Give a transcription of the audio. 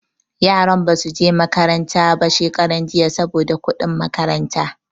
Yaran ba su je makaranta ba shekaran jiya saboda kuɗin makaranta.